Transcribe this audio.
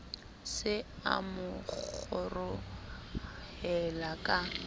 se a mo kgorohela ka